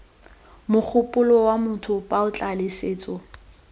mogopolo wa motho puo tlaleletso